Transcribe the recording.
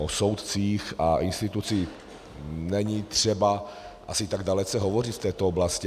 O soudcích a institucích není třeba asi tak dalece hovořit v této oblasti.